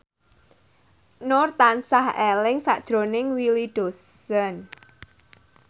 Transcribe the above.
Nur tansah eling sakjroning Willy Dozan